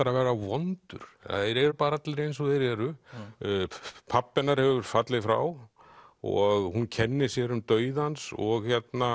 að vera vondur það eru bara allir eins og þeir eru pabbi hennar hefur fallið frá og hún kennir sér um dauða hans og